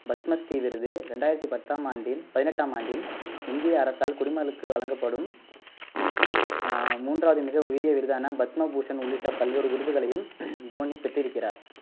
பத்மஸ்ரீ விருது ரெண்டாயிரத்தி பத்தாம் ஆண்டில் பதினெட்டாம் ஆண்டில், இந்திய அரசால் குடிமக்களுக்கு வழங்கப்படும் ஆஹ் மூன்றாவது மிக உயரிய விருதான பத்மபூசன் உள்ளிட்ட பல்வேறு விருதுகளையும் தோனி பெற்றிருக்கிறார்